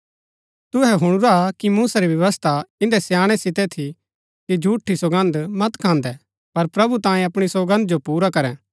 तुहै हुणुरा कि मूसा री व्यवस्था इन्दै स्याणै सितै थु कि झूठी सौगन्द मत खान्दै पर प्रभु तांयें अपणी सौगन्द जो पुरा करै